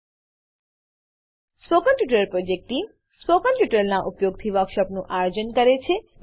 spoken tutorial project team spoken ટ્યુટોરીયલોનાં ઉપયોગથી વર્કશોપોનું આયોજન કરે છે